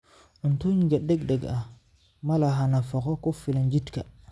Cuntooyinka degdega ahi ma laha nafaqo ku filan jidhka.